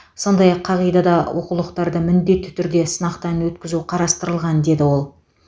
сондай ақ қағидада оқулықтарды міндетті түрде сынақтан өткізу қарастырылған деді ол